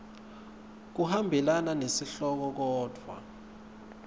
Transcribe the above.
kuhambelana nesihloko kodvwa